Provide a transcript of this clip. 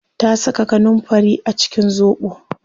Ta saka kanunfari a cikin zobo